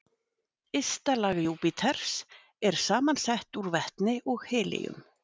Ysta lag Júpíters er samansett úr vetni og helíum.